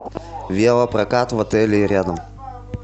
велопрокат в отеле и рядом